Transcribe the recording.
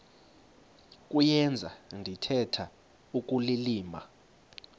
kuyenza ndithetha ukulilima